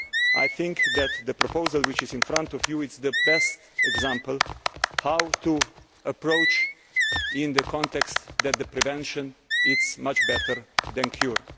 I think that the proposal which is in front of you is the best example of how to approach in this context the idea that prevention is much better than